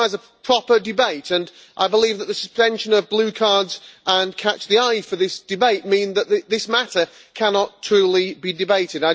It requires a proper debate, and I believe that the suspension of blue cards and catch the eye for this debate means that this matter cannot truly be debated.